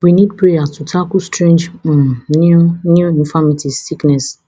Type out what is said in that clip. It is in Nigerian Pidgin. we need prayers to tackle strange um new new infirmities sickness